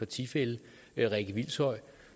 tilfælde